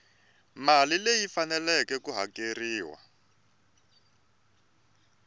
mali leyi faneleke ku hakeriwa